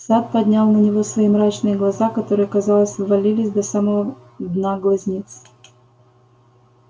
сатт поднял на него свои мрачные глаза которые казалось ввалились до самого дна глазниц